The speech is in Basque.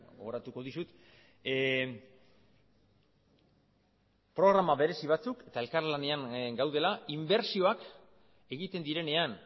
gogoratuko dizut programa berezi batzuk eta elkarlanean gaudela inbertsioak egiten direnean